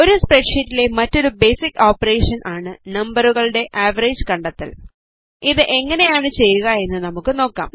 ഒരു സ്പ്രെഡ് ഷീറ്റിലെ മറ്റൊരു ബേസിക് ഓപ്പറേഷൻ ആണ് നംപറുകളുടെ ആവറേജ് കണ്ടെത്തൽ ഇത് എങ്ങനെയാണ് ചെയ്യുക എന്ന് നമുക്ക് നോക്കാം